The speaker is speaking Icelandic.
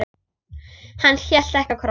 Hann hélt ekki á krossi.